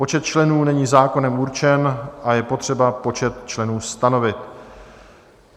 Počet členů není zákonem určen a je potřeba počet členů stanovit.